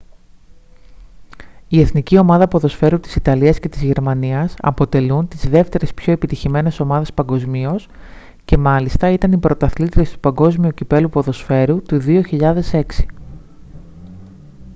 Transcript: η εθνική ομάδα ποδοσφαίρου της ιταλίας και της γερμανίας αποτελούν τις δεύτερες πιο επιτυχημένες ομάδες παγκοσμίως και μάλιστα ήταν οι πρωταθλήτριες του παγκόσμιου κυπέλλου ποδοσφαίρου του 2006